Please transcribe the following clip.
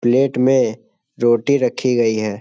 Plate में रोटी रखी गई है।